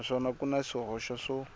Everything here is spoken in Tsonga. naswona ku na swihoxo swo